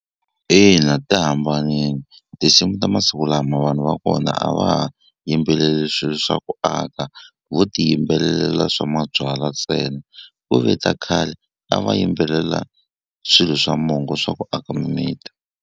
Ina ti hambanini tinsimu ta masiku lama vanhu va kona a va ha yimbeleli swi swa ku aka vo ti yimbelelela swa mabyalwa ntsena ku ve ta khale a va yimbelela swilo swa mongo swa ku aka mimiti.